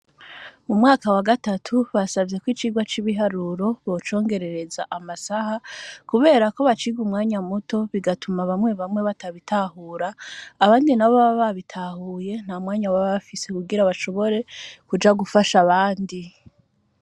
Mu mwaka wa gatatu, basavye ko icigwa c'ibiharuro bocongerereza amasaha, kubera ko baciga umwanya muto, bigatuma bamwe bamwe batabitahura, abandi nabo baba babitahuye nta mwanya baba bafise, kugira bashobore kuja gufasha abandi.